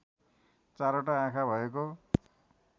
चारवटा आँखा भएको